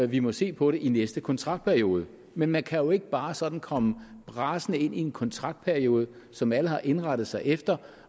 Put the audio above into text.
vi må se på i næste kontraktperiode men man kan jo ikke bare sådan komme brasende ind midt i en kontraktperiode som alle har indrettet sig efter